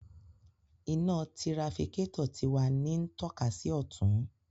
Ina tirafikatọ ti wa ni ntokasi si ọtun